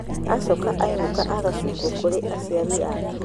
Acoka ainũka agacukwo kũrĩ aciari ake